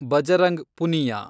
Bajrang Punia